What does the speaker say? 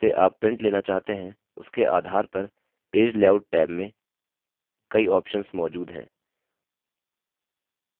जिस उद्देश्य से आप prints लेना चाहते हैं उसके आधार पर page layout टैब में कई options मौजूद हैं